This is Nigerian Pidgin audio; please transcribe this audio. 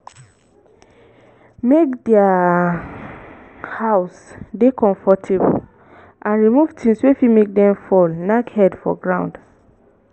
make their house dey comfortable and remove thongs wey fit make dem fall knack head for ground